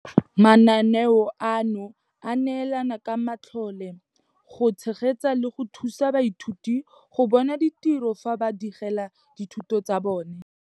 Mananeo ano a neelana ka matlole go tshegetsa le go thusa baithuti go bona ditiro fa ba digela dithuto tsa bona.